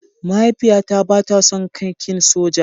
Mahaifiyata ba ta son kakin soja.